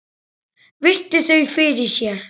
Virti þau fyrir sér.